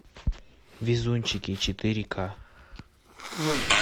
везунчики четыре ка